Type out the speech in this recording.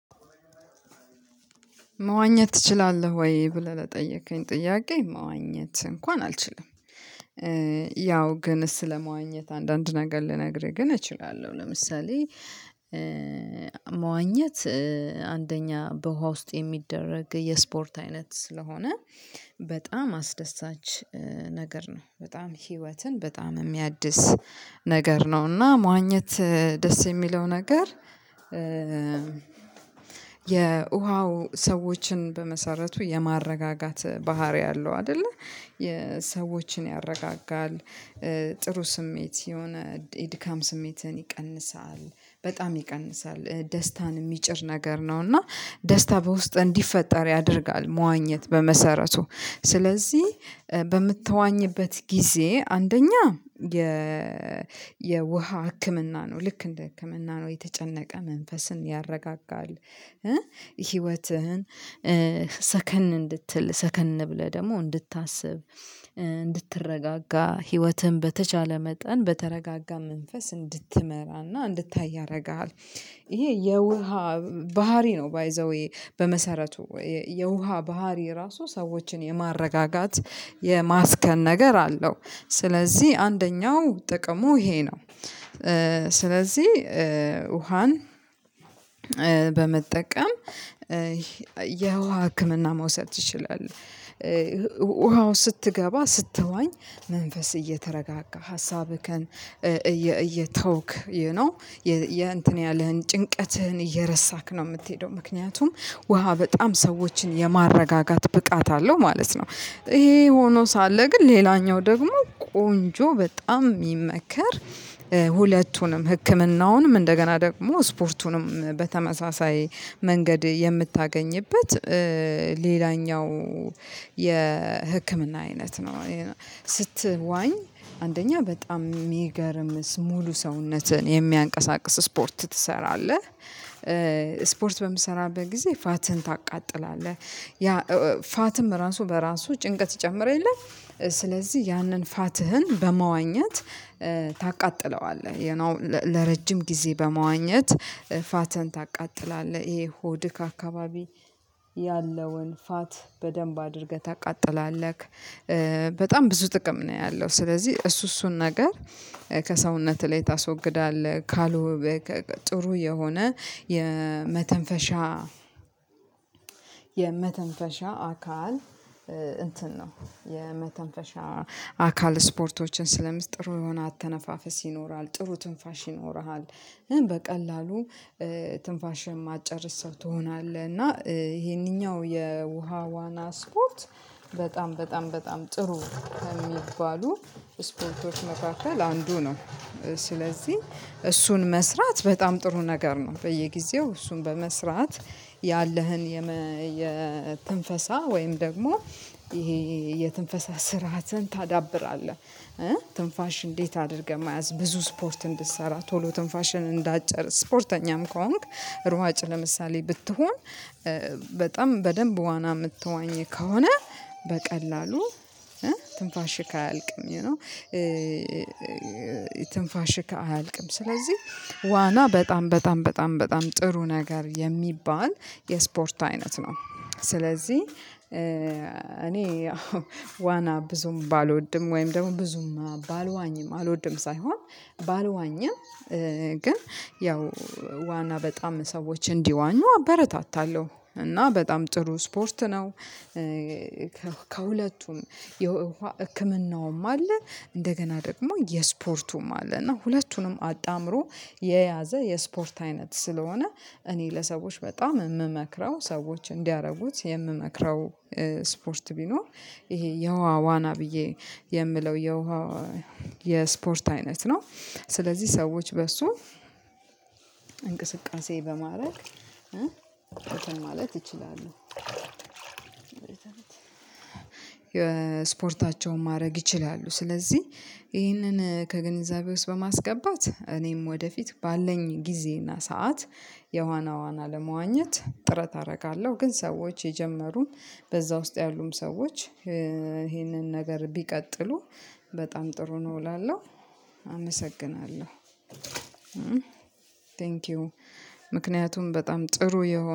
መዋኘት ትችላለህ ወይ ብለህ ለጠየከኝ ጥያቄ መዋኘት እንኳን አልችልም። ያው ግን ስለመዋኘት አንዳንድ ነገር ልነግርህ ግን እችላለሁ። ለምሳሌ። መዋኘት አንደኛ በውሃ ውስጥ የሚደረግ የስፖርት አይነት ስለሆነ በጣም አስደሳች ነገር ነው በጣም ህይወትን በጣም የሚያድስ ነገር ነው። እና መዋኘት ደስ የሚለው ነገር የውሃው ሰዎችን በመሰረቱ የማረጋጋት ባህሪ አለው አይደለ ሰዎችን ያረጋጋል። ጥሩ ስሜት የሆነ የድካም ስሜትን ይቀንሳል በጣም ይቀንሳል ደስታን የሚጭር ነገር ነው። እና ደስታ በውስጥ እንዲፈጠር ያደርጋል። መዋኘት በመሰረቱ ስለዚህ በምትዋኝበት ጊዜ አንደኛ የ የውሃ ህክምና ነው ልክ እንደ ህክምና ነው የተጨነቀ መንፈስን ያረጋጋል። ህይወትህን ሰከን እንድትል ሰከን ብለህ ደግሞ እንድታስብ እንድትረጋጋ ህይወትን በተቻለ መጠን በተረጋጋ መንፈስ እንድትመራና እንድታይ ያደርግሃል። ይሄ የውሃ ባህሪ ነው። ባይ ዘ ዌይ በመሰረቱ የውሃ ባህሪ ራሱ ሰዎችን የማረጋጋት የማስከን ነገር አለው። ስለዚህ አንደኛው ጥቅሙ ይሄ ነው። ስለዚህ ውሃን በመጠቀም የውሃ ህክምና መውሰድ ትችላለህ ውሃው ስትገባ ስትዋኝ መንፈስ እየተረጋጋ ሀሳብህን እየተውክ ዩ ኖው የእንትን ያለህን ጭንቀትህን እየረሳክ ነው የምትሄደው ምክንያቱም ውሃ በጣም ሰዎችን የማረጋጋት ብቃት አለው ማለት ነው። ይሄ ሆኖ ሳለ ግን ሌላኛው ደግሞ ቆንጆ በጣም የሚመከር ሁለቱንም ህክምናውንም እንደገና ደግሞ ስፖርቱንም በተመሳሳይ መንገድ የምታገኝበት ሌላኛው የህክምና አይነት ነው። ስትዋኝ አንደኛ በጣም የሚገርም ሙሉ ሰውነትህን የሚያንቀሳቅስ ስፖርት ትሰራለህ። ስፖርት በምሰራበት ጊዜ ፋትን ታቃጥላለህ ያ ፋትም ራሱ በራሱ ጭንቀት ይጨምር የለም። ስለዚህ ያንን ፋትህን በመዋኘት ታቃጥለዋለህ። ለረጅም ጊዜ በመዋኘት ፋትን ታቃጥላለህ ይሄ ሆድህ አካባቢ ያለውን ፋት በደንብ አድርገህ ታቃጥላለህ። በጣም ብዙ ጥቅም ነው ያለው። ስለዚህ እሱ እሱን ነገር ከሰውነትህ ላይ ታስወግዳለህ። ካሉ ጥሩ የሆነ የመተንፈሻ የመተንፈሻ አካል እንትን ነው የመተንፈሻ አካል ስፖርቶችን ስለምትሰራ ጥሩ የሆነ አተነፋፈስ ይኖራል ጥሩ ትንፋሽ ይኖርሃል። በቀላሉ ስለዚህ ውሃን በመጠቀም የውሃ ህክምና መውሰድ ትችላለህ ውሃው ስትገባ ስትዋኝ መንፈስ እየተረጋጋ ሀሳብህን እየተውክ ዩ ኖው ስለዚህ እሱን መስራት በጣም ጥሩ ነገር ነው። በየጊዜው እሱን በመስራት ያለህን የትንፈሳ ወይም ደግሞ ይሄ የትንፈሳ ስርዓትን ታዳብራለህ። ትንፋሽ እንዴት አድርገህ መያዝ ብዙ ስፖርት እንድትሰራ ቶሎ ትንፋሽን እንዳጨርስ ስፖርተኛም ከሆንክ ሩዋጭ ለምሳሌ ብትሆን በጣም በደንብ ዋና የምትዋኘው ከሆነ በቀላሉ ትንፋሽ አያልቅም። ዩ ኖው ትንፋሽክ አያልቅም። ስለዚህ ዋና በጣም በጣም በጣም በጣም ጥሩ ነገር የሚባል የስፖርት አይነት ነው። ስለዚህ እኔ ዋና ብዙም ባልወድም ወይም ደግሞ ብዙም ባልዋኝም አልወድም ሳይሆን ባልዋኝም ግን ያው ዋና በጣም ሰዎች እንዲዋኙ አበረታታለሁ እና በጣም ጥሩ ስፖርት ነው። ከሁለቱም የህክምናውም አለ እንደገና ደግሞ የስፖርቱም አለ። እና ሁለቱንም አጣምሮ የያዘ የስፖርት አይነት ስለሆነ እኔ ለሰዎች በጣም የምመክረው ሰዎች እንዲያደርጉት የምመክረው ስፖርት ቢኖር ይሄ የውሃ ዋና ብዬ የምለው የውሃ የስፖርት አይነት ነው። ስለዚህ ሰዎች በሱ እንቅስቃሴ በማድረግ ማለት ይችላሉ የስፖርታቸውን ማድረግ ይችላሉ። ስለዚህ ይህንን ከግንዛቤ ውስጥ በማስገባት እኔም ወደፊት ባለኝ ጊዜና ሰዓት የውሃ ዋና ለመዋኘት ጥረት አደርጋለሁ። ግን ሰዎች የጀመሩን በዛ ውስጥ ያሉም ሰዎች ይሄንን ነገር ቢቀጥሉ በጣም ጥሩ ነው እላለሁ። አመሰግናለሁ። ቴንኪው ምክንያቱም በጣም ጥሩ የሆነ